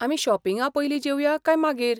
आमी शॉपिंगा पयलीं जेवया काय मागीर?